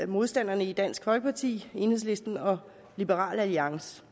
modstandernes dansk folkeparti enhedslisten og liberal alliance